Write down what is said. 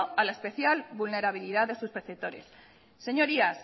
a la especial vulnerabilidad de sus perceptores señorías